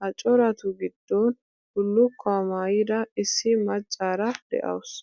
Ha coratu giddon bullukkuwa maayida issi maccaara de'awusu.